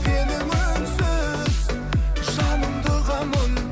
сенің үнсіз жаныңды ұғамын